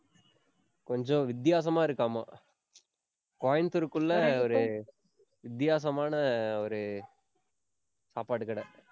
கொஞ்சம் வித்தியாசமா இருக்காமா. கோயம்புத்தூருக்குள்ள ஒரு, வித்தியாசமான ஒரு, சாப்பாடு கடை.